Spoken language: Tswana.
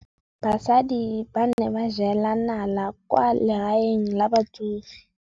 Basadi ba ne ba jela nala kwaa legaeng la batsofe.